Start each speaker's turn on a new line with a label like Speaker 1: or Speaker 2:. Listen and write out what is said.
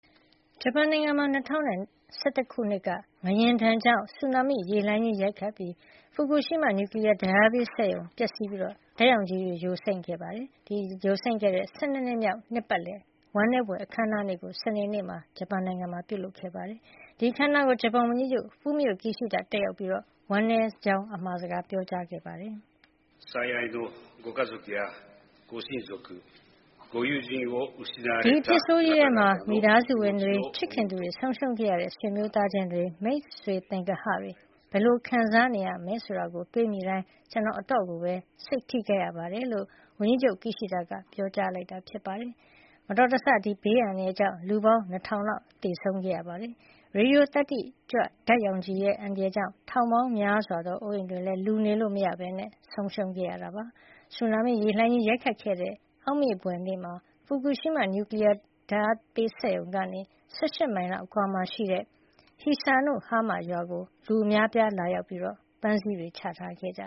Speaker 1: ဂျပန်နိုင်ငံမှာ ၂၀၁၁ ခုနှစ်က ငလျင်ဒဏ်ကြောင့် ဆူနာမိလှိုင်းကြီးရိုက်ခတ်ခဲ့လို့ ဖူကူရှီးမား နျူကလီယားဓာတ်အားပေး စက်ရုံပျက်စီးပြီး ဓာတ်ရောင်ခြည်တွေယိုစိမ့်ခဲ့တဲ့ ၁၂ နှစ်မြောက် နှစ်ပတ်လည် ဝမ်းနည်းဘွယ်အခမ်းအနားကို စနေနေ့ကပြုလုပ်ခဲ့ပါတယ်။ ဒီအခမ်းအနားကို ဂျပန်ဝန်ကြီးချုပ် ဖူမိအိုကီရှိဒါတက်ရောက်ပြီး ဝမ်းနည်းကြောင်းစကား ပြောကြားခဲ့ပါတယ်။ “ဒီ
Speaker 2: အဖြစ်ဆိုးကြီ
Speaker 1: းထဲမှာ မိသားစုဝင်တွေ၊ ချစ်ခင်သူတွေဆုံးရှုံးခဲ့ရတဲ့ ဆွေမျိုးသားခြင်းတွေ၊ မိတ်ဆွေသင်္ဂဟတွေ ဘယ်လို ခံစားနေရမလဲဆိုတာတွေးမိတိုင်း ကျနော် အတော်ကိုပဲ စိတ်ထိခိုက်ရပါတယ်” လို့ ဝန်ကြီးချုပ် ကီရှီဒါကပြောဆိုခဲ့ပါတယ်။ ဒီဘေးအန္တရာယ်ဆိုးကြီးအတွင်း လူ ၂,၀၀၀ လောက်သေဆုံးခဲ့ပြီး ရေဒီယိုသတ္တိကြွ အန္တရာယ်ကြောင့် ထောင်ပေါင်းများစွာသောအိုးအိမ်တွေလည်း လူနေလို့မရတော့ဘဲ ဆုံးရှုံးခဲ့ပါတယ်။ ဆူနာမိရေလှိုင်းကြီးရိုက်ခတ်ခဲ့တဲ့ အောက်မေ့ဘွယ်နေ့မှာ ဖူကူရှီးမား နျူကလီယားသုံး ဓာတ်အားပေးစက်ရုံကနေ ၁၈ မိုင်လောက်အကွာမှာရှိတဲ့ Hisanohama ရွာကို လူအများလာရောက်ပြီး ပန်းစည်းတွေချထားခဲ့ကြ